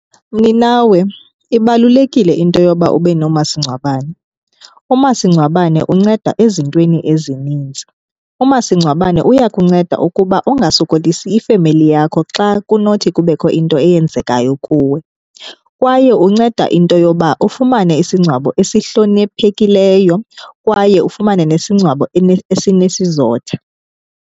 Mninawe, ibalulekile into yoba ube nomasingcwabane. Umasingcwabane unceda ezintweni ezininzi. Umasingcwabane uyakunceda ukuba ungasokolisi ifemeli yakho xa kunothi kubekho into eyenzekayo kuwe. Kwaye unceda into yoba ufumane isingcwabo esihloniphekileyo kwaye ufumane nesingcwabo esinesizotha.